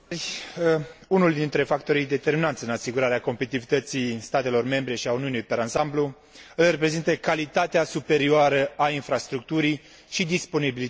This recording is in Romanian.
Unul dintre factorii determinanți în asigurarea competitivității statelor membre și a Uniunii per ansamblu îl reprezintă calitatea superioară a infrastructurii și disponibilitatea ei.